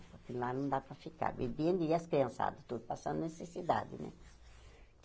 Porque lá não dá para ficar bebendo e as criançada tudo passando necessidade, né?